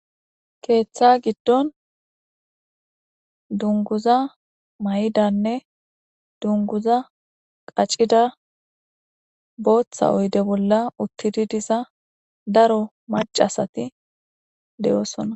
keeththa giddon dunguza mayidanne dunguza qacida booththa oyde bolla uttidi diza daro macasati de'oosona